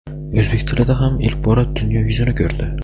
o‘zbek tilida ham ilk bora dunyo yuzini ko‘rdi.